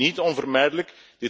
Dit was niet onvermijdelijk.